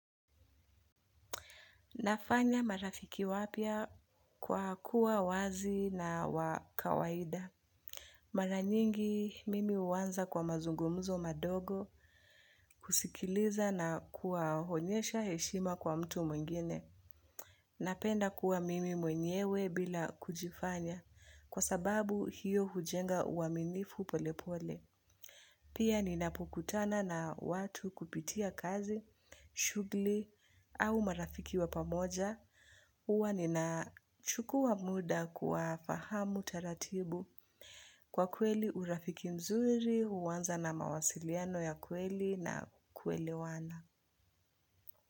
Nafanya marafiki wapya kwa kuwa wazi na wakawaida. Maranyingi mimi huanza kwa mazungumuzo madogo kusikiliza na kuwaonyesha heshima kwa mtu mwingine. Napenda kuwa mimi mwenyewe bila kujifanya kwa sababu hiyo hujenga uwaminifu pole pole. Pia ninapukutana na watu kupitia kazi, shughuli au marafiki wa pamoja, huwa ninachukua muda kuwafahamu taratibu kwa kweli urafiki mzuri, huwanza na mawasiliano ya kweli na kuelewana.